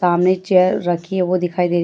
सामने चेयर राखी है वो दिखाई दे रही है।